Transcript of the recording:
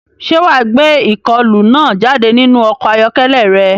Ṣé wà á gbé ìkọlù náà jáde nínú ọkọ̀ ayọ́kẹ́lẹ́ rẹ?